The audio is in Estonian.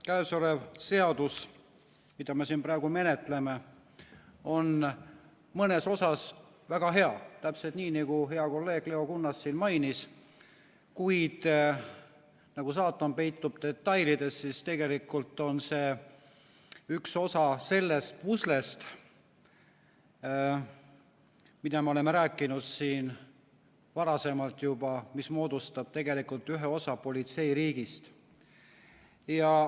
Käesolev seadus, mida me praegu menetleme, on mõnes osas väga hea, täpselt nii, nagu hea kolleeg Leo Kunnas siin mainis, kuid kuna saatan peitub detailides, siis tegelikult on see üks osa sellest puslest, millest me oleme rääkinud siin varasemalt, mis moodustab ühe osa politseiriigist.